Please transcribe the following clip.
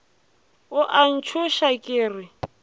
o a ntšhoša ke re